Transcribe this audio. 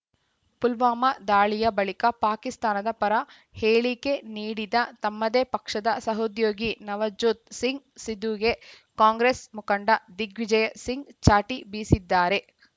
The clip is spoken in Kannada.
ಪುಲ್ವಾಮಾ ದಾಳಿಯ ಬಳಿಕ ಪಾಕಿಸ್ತಾನದ ಪರ ಹೇಳಿಕೆ ನೀಡಿದ ತಮ್ಮದೇ ಪಕ್ಷದ ಸಹೋದ್ಯೋಗಿ ನವಜೋತ್‌ ಸಿಂಗ್‌ ಸಿಧುಗೆ ಕಾಂಗ್ರೆಸ್‌ ಮುಖಂಡ ದಿಗ್ವಿಜಯ್‌ ಸಿಂಗ್‌ ಚಾಟಿ ಬೀಸಿದ್ದಾರೆ